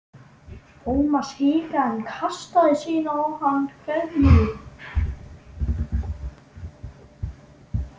Thomas hikaði en kastaði síðan á hann kveðju.